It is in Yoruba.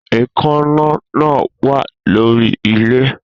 Èékánná náà wà lórí ilẹ̀